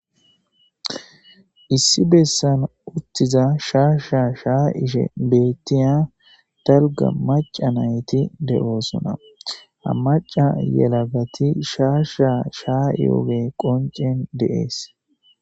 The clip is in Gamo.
Issi bessana uttiza shaa shaa shaa ishe bettiya dalga maca nayti de'oosona ha maca yelagati shaa shaa shaa yoobe qoncen deees.